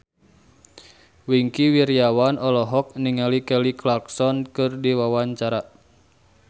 Wingky Wiryawan olohok ningali Kelly Clarkson keur diwawancara